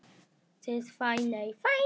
Þín, Fanney.